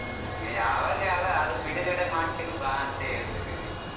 ಏ ಅವಗೆಲ್ಲ ಅದಕ್ ಬಿಡುಗಡೆ ಮಾಡ್ತೀನಿ ಬಾ ಅಂತ ಹೇಳ್ತೀದಿನಿ.